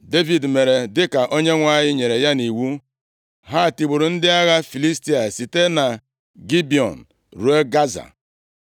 Devid mere dịka Chineke nyere ya nʼiwu. Ha tigburu ndị agha Filistia site na Gibiọn ruo Gaza.